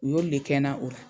U y'olu de kɛ na o la.